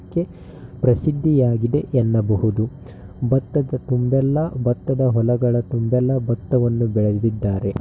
ಕ್ಕೆ ಪ್ರಸಿದ್ದಿಯಾಗಿದೆ ಎನ್ನಬಹುದು ಭತ್ತದ ತುಂಬೆಲ್ಲ ಭತ್ತದ ಹೊಲಗಳ ತುಂಬೆಲ್ಲಾ ಭತ್ತವನ್ನು ಬೆಳೆದಿದ್ದಾರೆ.